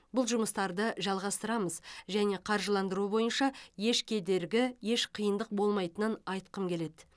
бұл жұмыстарды жалғастырамыз және қаржыландыру бойынша еш кедергі еш қиындық болмайтынын айтқым келеді